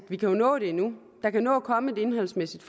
jo nå det endnu der kan nå at komme et indholdsmæssigt